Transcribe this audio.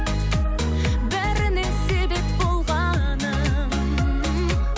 бәріне себеп болғаным